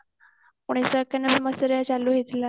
ମଣିଷ ସମସ୍ଯା ରେ